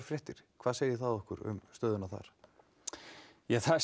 fréttir hvað segir það okkur um stöðuna þar það